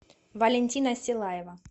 валентина силаева